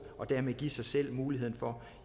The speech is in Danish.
og dermed give sig selv muligheden for